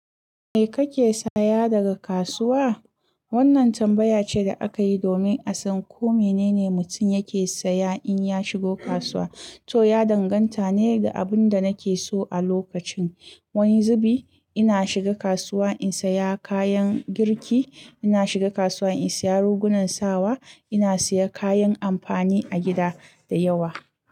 Me kake saya daga kasuwa? Wannan tambaya ce da aka yi domin a san ko mene ne mutum yake saya in ya shigo kasuwa, to ya danganta ne da abin da nake so a lokacin. Wani zubi ina shiga kasuwa in saya kayan girki, ina shiga kasuwa in saya rigunan sawa, ina saya kayan amfani a gida da yawa.